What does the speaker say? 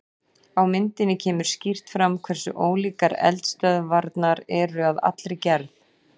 Á myndinni kemur skýrt fram hversu ólíkar eldstöðvarnar eru að allri gerð.